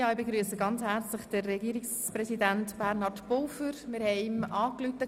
Ich begrüsse Herrn Regierungspräsident Bernhard Pulver ganz herzlich.